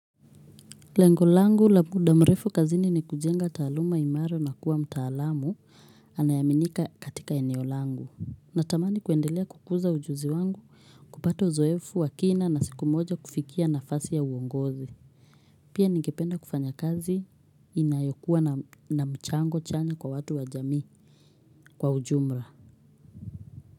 Lengo langu la muda mrefu kazini ni kujenga taaluma imara na kuwa mtaalamu anayeaminika katika eneo langu. Natamani kuendelea kukuza ujuzi wangu, kupata uzoefu wa kina na siku moja kufikia nafasi ya uongozi. Pia ningependa kufanya kazi inayokuwa na mchango chanya kwa watu wa jamii kwa ujumla.